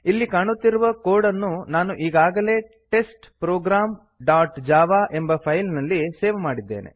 ಇಲ್ಲಿ ಕಾಣುತ್ತಿರುವ ಕೋಡ್ ಅನ್ನು ನಾನು ಈಗಾಗಲೇ ಟೆಸ್ಟ್ಪ್ರೊಗ್ರಾಮ್ ಡಾಟ್ ಜಾವಾ ಎಂಬ ಫೈಲ್ ನಲ್ಲಿ ಸೇವ್ ಮಾಡಿದ್ದೇನೆ